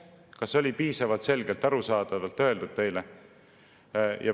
Kas see oli piisavalt arusaadavalt öeldud teile?